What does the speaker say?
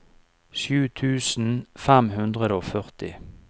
sju tusen fem hundre og førti